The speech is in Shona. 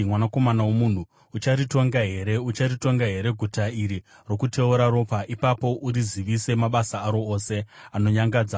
“Mwanakomana womunhu, ucharitonga here? Ucharitonga here guta iri rokuteura ropa? Ipapo urizivise mabasa aro ose anonyangadza